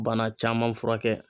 Bana caman furakɛ.